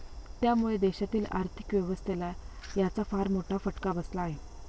त्यामुळे देशातील आर्थिक व्यवस्थेला याचा फार मोठा फटका बसला आहे.